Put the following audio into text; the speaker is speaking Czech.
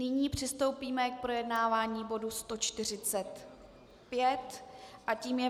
Nyní přistoupíme k projednávání bodu 145 a tím je